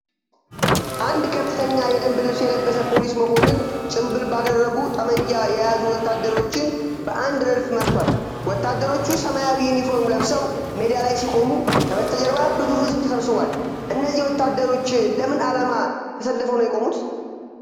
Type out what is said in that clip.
አንድ ከፍተኛ የደንብ ልብስ የለበሰ ፖሊስ መኮንን ጭምብል ባደረጉ ጠመንጃ የያዙ ወታደሮችን በአንድ ረድፍ መርቷል። ወታደሮቹ ሰማያዊ ዩኒፎርም ለብሰው ሜዳ ላይ ሲቆሙ ከበስተጀርባ ብዙ ሕዝብ ተሰብስቧል። እነዚህ ወታደሮች ለምን ዓላማ ተሰልፈው የቆሙት?